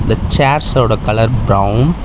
இந்த சேர்ஸ் ஓட colour brown .